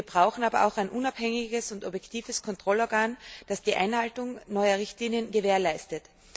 Wir brauchen aber auch ein unabhängiges und objektives Kontrollorgan, das die Einhaltung neuer Richtlinien gewährleistet.